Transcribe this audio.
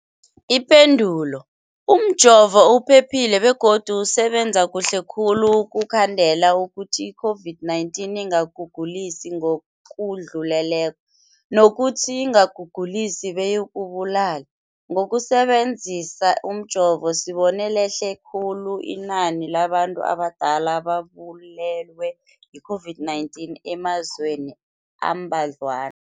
Ipendulo, umjovo uphephile begodu usebenza kuhle khulu ukukhandela ukuthi i-COVID-19 ingakugulisi ngokudluleleko, nokuthi ingakugulisi beyikubulale. Ngokusebe nzisa umjovo, sibone lehle khulu inani labantu abadala ababulewe yi-COVID-19 emazweni ambadlwana.